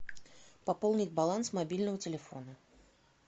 пополнить баланс мобильного телефона